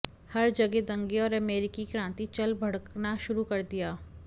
हर जगह दंगे और अमेरिकी क्रांति चल भड़कना शुरू कर दिया